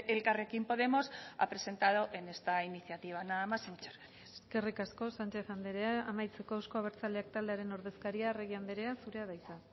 elkarrekin podemos ha presentado en esta iniciativa nada más y muchas gracias eskerrik asko sánchez andrea amaitzeko euzko abertzaleak taldearen ordezkaria arregi andrea zurea da hitza